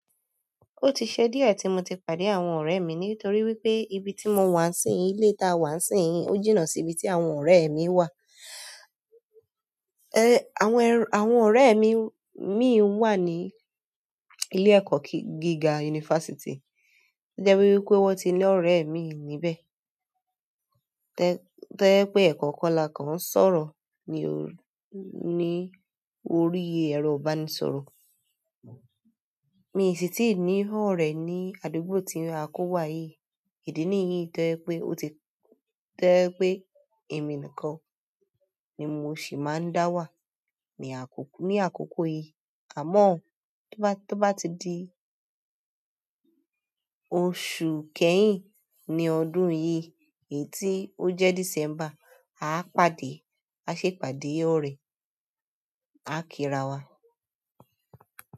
Ó ti ṣe díẹ̀ tí mo ti pàdé àwọn ọ̀rẹ́ mi nítorí wípé ibi tí mo wà sí yín, ilé tá wà sí yín ó jìnnà sí ibi tí àwọn ọ̀rẹ́ mi wà. Àwọn, àwọn ọ̀rẹ́ mi imi wà ní ilé ẹ̀kọ́ gíga yunifásítì. To jẹ́ wípé wón ti ní ọ̀rẹ́ imi níbẹ̀. Tẹ́ ye pé ekankan lá kan sọ̀rọ̀ ní ò, ní orí ẹ̀rọ ìbánisọ̀rọ̀. Mi sì ti ní ọ̀rẹ́ ní àdúgbò tí a kó wá yìí. Ìdí nìyí tẹ́ ye pé ó ti, tẹ́ ye pé èmi nìkan ni mo sì máa ń dá wà ní àkọ́kọ́ yìí. Àmọ́ tó bá, tó bá ti di oṣù kẹ́yìn ní ọdún yi, èyí tí ó jẹ́ December, a pàdé, a ṣè ìpàdé ọ̀rẹ́, a kí rawa.